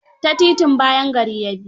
Ta titin bayan gari ya bi.